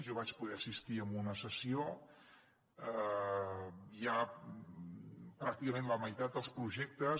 jo vaig poder assistir a una sessió hi ha pràcticament la meitat dels projectes